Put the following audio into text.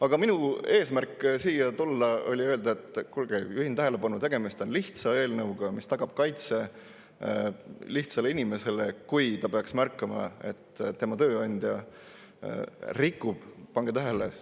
Aga minu eesmärk siia tulles oli öelda: kuulge, juhin tähelepanu, tegemist on lihtsa eelnõuga, mis tagab kaitse lihtsale inimesele, kui ta peaks märkama, et tema tööandja – pange tähele!